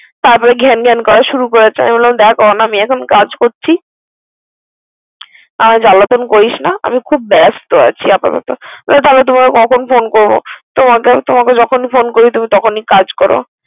তারপর ঘ্যানঘ্যান করা শুরু করছে। আমি বললাম দেখ আমি এখন কাজ করছি আর জ্বালাতন করিস না আমি খুব ব্যস্ত আছি আপাতত। বললো তাহলে তোমায় কখন ফোন করবো? তোমাকে যখন ফোন করি তখনই কাজ করো।